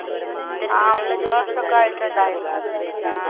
ആ മൂന്ന് വർഷോക്കെ ആയിട്ടിണ്ടായിരിക്കും